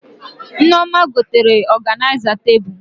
Nneoma gotere ọganịza tebụl